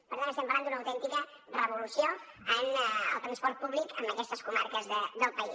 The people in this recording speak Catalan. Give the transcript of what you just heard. per tant estem parlant d’una autèntica revolució en el transport públic en aquestes comarques del país